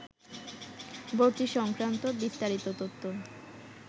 ভর্তি সংক্রান্ত বিস্তারিত তথ্য